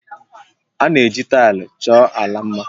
A na-eji taịlị chọọ ala mma